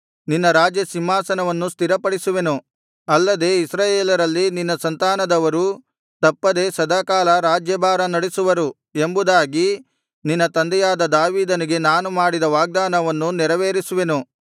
ನಿನ್ನ ರಾಜ್ಯಸಿಂಹಾಸನವನ್ನು ಸ್ಥಿರಪಡಿಸುವೆನು ಅಲ್ಲದೆ ಇಸ್ರಾಯೇಲರಲ್ಲಿ ನಿನ್ನ ಸಂತಾನದವರು ತಪ್ಪದೆ ಸದಾಕಾಲ ರಾಜ್ಯಾಭಾರ ನಡಿಸುವರು ಎಂಬುದಾಗಿ ನಿನ್ನ ತಂದೆಯಾದ ದಾವೀದನಿಗೆ ನಾನು ಮಾಡಿದ ವಾಗ್ದಾನವನ್ನು ನೆರವೇರಿಸುವೆನು